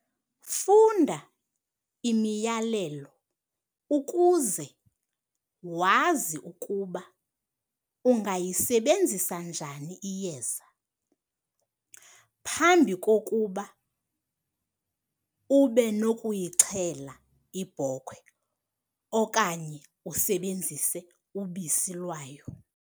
Funda imiyalelo ukuze wazi ukuba ungayisebenzisa njani iyeza, phambi kokuba ube nokuyixhela ibhokhwe okanye usebenzise ubisi lwayo.